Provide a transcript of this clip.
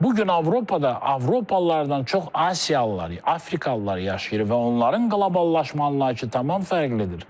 Bu gün Avropada Avropalılardan çox Asiyalılar, Afrikalılar yaşayır və onların qloballaşma anlayışı tamam fərqlidir.